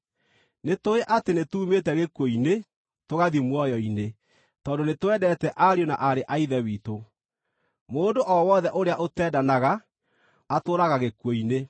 Nĩtũũĩ atĩ nĩtuumĩte gĩkuũ-inĩ tũgathiĩ muoyo-inĩ, tondũ nĩtwendete ariũ na aarĩ a Ithe witũ. Mũndũ o wothe ũrĩa ũtendanaga atũũraga gĩkuũ-inĩ.